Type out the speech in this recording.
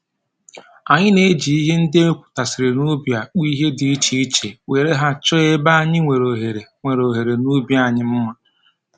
Anyị na-eji ihe ndị e wepụtasịrị n'ubi akpụ ihe dị iche iche were ha chọọ ebe anyị nwere ohere nwere ohere n'ubi anyị mma